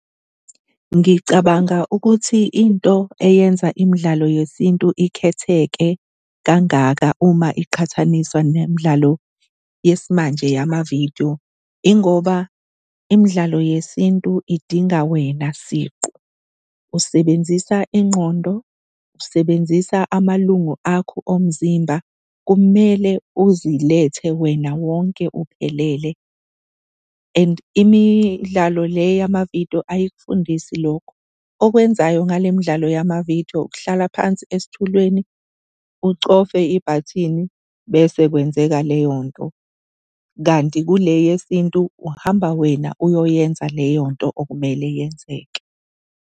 Ngicabanga ukuthi into eyenza imidlalo yesintu ikhetheke kangaka uma iqhathaniswa nemidlalo yesimanje yamavidiyo ingoba imidlalo yesintu idinga wena siqu, usebenzisa ingqondo, usebenzisa amalungu akho omzimba. Kumele uzilethe wena wonke uphelele and imidlalo le yamavidiyo ayikufundisi lokho. Okwenzayo ngale mdlalo yamavidiyo, ukuhlala phansi esitulweni ucofe ibhathini bese kwenzeka leyo nto kanti kule yesintu uhamba wena uyoyenza leyo nto okumele yenzeke.